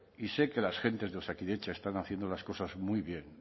y sé que las gentes de osakidetza están haciendo las cosas muy bien